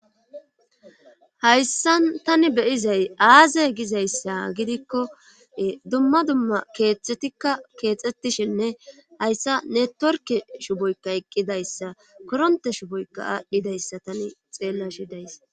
Hayssan tani beyizay aaze gizayssa gidikko ee dumma dumma keexetikka keexxettishenne hayssa ne torke shuboykka eqqidayssa koronte shuboykka aadhdhidayssa tani xeella shidays.